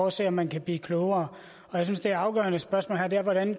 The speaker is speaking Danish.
at se om man kan blive klogere jeg synes det afgørende spørgsmål her er hvordan